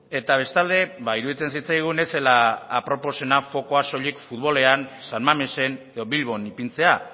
eta bestalde iruditzen zitzaigun ez zela aproposena fokua soilik futbolean san mamesen edo bilbon ipintzea